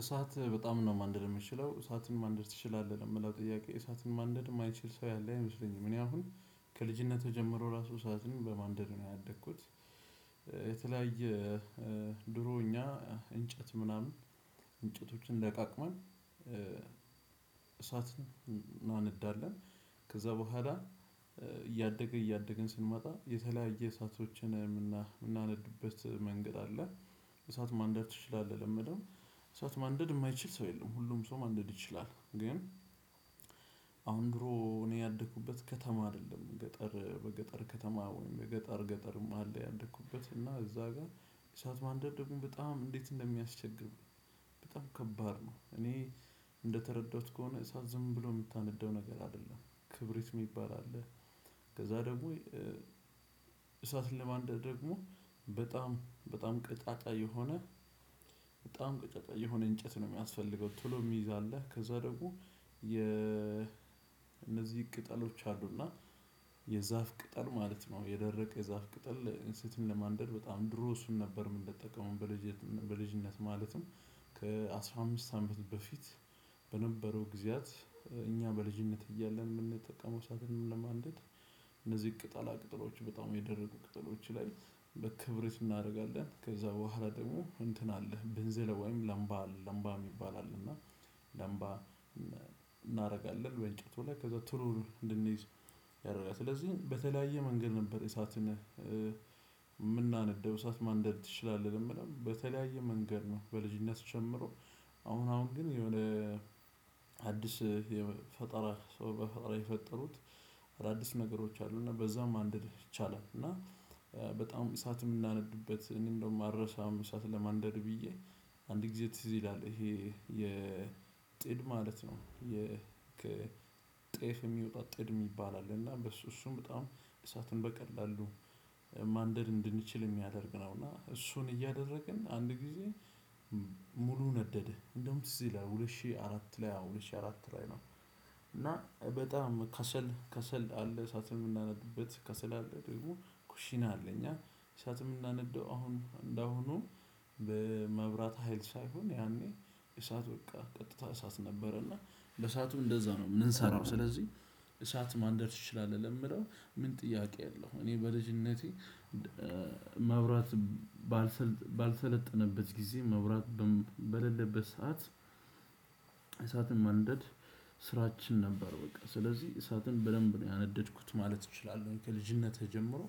እሳት በጣም ነው ማንደድ የምችለው እሳትን ማንደድ ትችላለህ ለምለው ጥያቄ እሳትን ማንደድ የማይችል ሰው ያለ አይመስለኝም እኔ አሁን ከልጅነቴ ጀምሮ ራሱ እሳትን በማንደድ ነው ያደኩት። የተለያየ ድሮ እኛ እንጨት ምናምን እንጨቶችን ለቃቅመን እሳት እናነዳለን። ከዛ በኋላ እያደግን እያደግን ስንመጣ የተለያየ እሳቶችን የምናነድበት መንገድ አለ። እሳት ማንደድ ትችላለህ ለምለው? እሳት ማንደድ የማይችል ሰው የለም ሁሉም ሰው ማንደድ ይችላል። ግን አሁን ድሮ እኔ ያደኩበት ከተማ አይደለም ገጠር በገጠር ከተማ ወይም ገጠር ገጠርም አለ ያደኩበት እና እዛ ጋር እሳት ማንደድ ደግሞ በጣም እንዴት እንደሚያስቸግር። በጣም ከባድ ነው። እኔ እንደተረዳሁት ከሆነ እሳት ዝም ብሎ የምታነደው ነገር አይደለም ክብሪት የሚባል አለ። ከዛ ደግሞ እሳትን ለማንደድ ደግሞ በጣም በጣም ቀጫጫ የሆነ በጣም ቀጫጫ የሆነ እንጨት ነው ሚያስፈልገው። ቶሎ የሚይዝ አለ ከዛ ደግሞ የ እነዚህ ቅጠሎች አሉና የዛፍ ቅጠል ማለት ነው የደረቀ የዛፍ ቅጠል እሳትን ለማንደድ በጣም ድሮ እሱን ነበር የምንጠቀመው። በልጅነት ማለትም ከአስራ አምስት አመት በፊት በነበረው ጊዜያት እኛ በልጅነት እያለን የምንጠቀመው እሳትንም ለማንደድ። እነዚህ ቅጠላ ቅጠሎች በጣም የደረቁ ቅጠሎች ላይ በክብረት እናደርጋለን ከዛ በኋላ ደግሞ እንትን አለህ በንዝል ወይም ላምባ ላምባ የሚባል እና ላምባ እናደርጋለን በእንጨቱ ላይ ከዛ ቶሎ እንድንይዝ ያደርጋል። ስለዚህ በተለያየ መንገድ ነበር እሳትን የምናነደው እሳት ማንደድ ትችላለህ ለምለው በተለያየ መንገድ ነው። በልጅነት ጨምሮ አሁን አሁን ግን የሆነ አዲስ የፈጠራ ሰው በፈጠራ የፈጠሩት አዳዲስ ነገሮች አሉ እና በዛም ማንደድ ይቻላል። እና በጣም እሳት የምናነድበት እኔ እንደውም አልረሳም እሳት ለማንደድ ብዬ አንድ ጊዜ ትዝ ይላል ይሄ የጥድ ማለት ነው። ከጤፍ የሚወጣው ጥድ የሚባል አለ እና በሱ እሱም በጣም እሳቱን በቀላሉ ማንደድ እንድንችል የሚያደርግ ነው። እና እሱን እያደረግን አንድ ጊዜ ሙሉ ነደደ እንደውም ትዝ ይላል ሁለት ሺህ አራት ላይ አዎ ሁለት ሺህ አራት ላይ ነው። እና በጣም ከሰል ከሰል አለ እሳትን የምናነድበት ከሰል አለ ደግሞ ኩሽና አለ እኛ እሳትም ምናነደው አሁን እንደ አሁኑ በመብራት ሀይል ሳይሆን ያኔ እሳት በቃ ቀጥታ እሳት ነበረ እና እሳቱ እንደዛ ነው የምንሰራው ስለዚህ። እሳት ማንደድ ትችላለህ ለምለው ምን ጥያቄ አለው። እኔ በልጅነቴ ማብራት ባልሰለጠነበት ጊዜ መብራት በሌለበት ሰዓት እሳትን ማንደድ ስራችን ነበር በቃ ስለዚህ እሳትን በደንብ ነው ያነደድኩት ማለት እችላለሁ። ከልጅነቴ ጀምሮ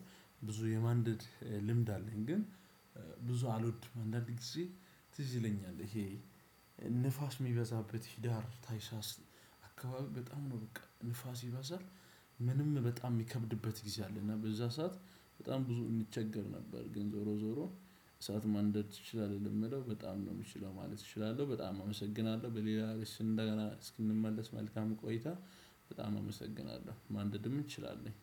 ብዙ የማንደድ ልምድ አለኝ። ግን ብዙ አልወድም። አንዳንድ ጊዜ ትዝ ይለኛል ይሄ ንፋስ የሚበዛበት ሂዳር ታይሳስ አካባቢ በጣም ነው በቃ ንፋስ ይበዛል። ምንም በጣም የሚከብድበት ጊዜ አለ እና በዛ ሰዓት በጣም ብዙ እንቸገር ነበር። ግን ዞሮ ዞሮ እሳት ማንደድ ትችላለህ የምለው በጣም ነው የምችለው ማለት እችላለሁ። በጣም አመሰግናለሁ። በሌላ ርዕስ እንደገና እስክንመለስ መልካም ቆይታ በጣም አመሰግናለሁ። ማንደድም እንችላለን